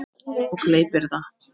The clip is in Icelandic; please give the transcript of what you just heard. Og gleypir það.